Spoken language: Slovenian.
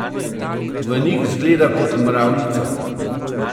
V njih zgleda kot mravljica.